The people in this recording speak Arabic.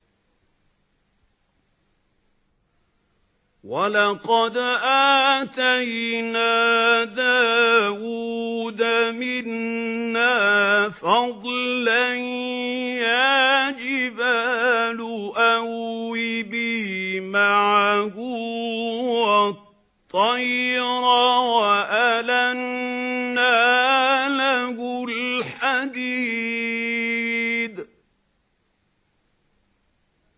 ۞ وَلَقَدْ آتَيْنَا دَاوُودَ مِنَّا فَضْلًا ۖ يَا جِبَالُ أَوِّبِي مَعَهُ وَالطَّيْرَ ۖ وَأَلَنَّا لَهُ الْحَدِيدَ